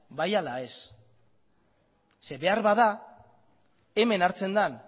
bai ala ez ze beharbada hemen hartzen dan